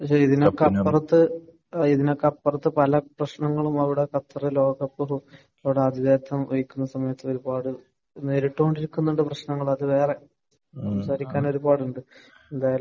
പക്ഷെ ഇതിനൊക്കെ അപ്പുറത്തെ ഇതിനൊക്കെ അപ്പുറത്ത് പല പ്രശ്നങ്ങളും അവിടെ ഖത്തർ ലോകകപ്പ് സമയത്ത് ഒരുപാട് നേരിട്ട് കൊണ്ടിരിക്കുന്ന പ്രശ്നങ്ങൾ അത് വേറെ. സംസാരിക്കാൻ ഒരുപാട് ഉണ്ട്. എന്തായാലും